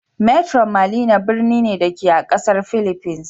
Metro Manila birni ne, da ke a ƙasar fhiliffines.